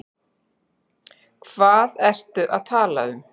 Hvað ertu að tala um?